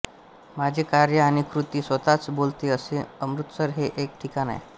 माझे कार्य आणि कृती स्वतःच बोलते असे अमृतसर हे एक ठिकाण आहे